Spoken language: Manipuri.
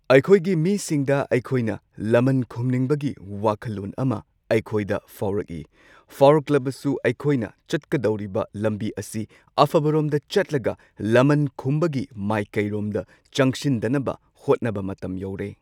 ꯑꯩꯈꯣꯏꯒꯤ ꯃꯤꯁꯤꯡꯗ ꯑꯩꯈꯣꯏꯅ ꯂꯃꯟ ꯈꯨꯝꯅꯤꯡꯕꯒꯤ ꯋꯥꯈꯜꯂꯣꯟ ꯑꯃ ꯑꯩꯈꯣꯏꯗ ꯐꯥꯎꯔꯛꯏ꯫ ꯐꯥꯎꯔꯛꯂꯕꯁꯨ ꯑꯩꯈꯣꯏꯅ ꯆꯠꯀꯗꯧꯔꯤꯕ ꯂꯝꯕꯤ ꯑꯁꯤ ꯑꯐꯕꯔꯣꯝꯗ ꯆꯠꯂꯒ ꯂꯃꯟ ꯈꯨꯝꯕꯒꯤ ꯃꯥꯏꯀꯩꯔꯣꯝꯗ ꯆꯪꯁꯤꯟꯗꯅꯕ ꯍꯣꯠꯅꯕ ꯃꯇꯝ ꯌꯧꯔꯦ꯫